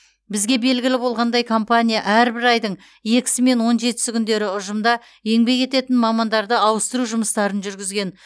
бізге белгілі болғандай компания әрбір айдың екісі мен он жетісі күндері ұжымда еңбек ететін мамандарды ауыстыру жұмыстарын жүргізген